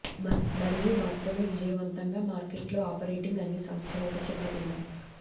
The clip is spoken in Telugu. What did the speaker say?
మరియు మాత్రమే విజయవంతంగా మార్కెట్లో ఆపరేటింగ్ అన్ని సంస్థలు ఒక చిన్న భిన్నం